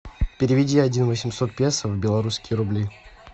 переведи один восемьсот песо в белорусские рубли